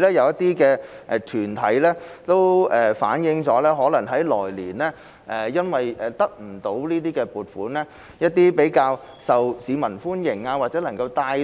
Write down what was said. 有些團體亦反映，因為來年不獲撥款，一些較受市民歡迎或能夠帶